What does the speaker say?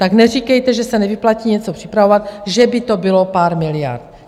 Tak neříkejte, že se nevyplatí něco připravovat, že by to bylo pár miliard.